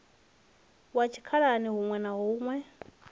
wa tshikhalani huṋwe na huṋwe